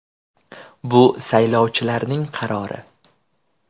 Bu saylovchilarning qarori.